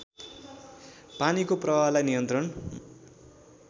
पानीको प्रवाहलाई नियन्त्रण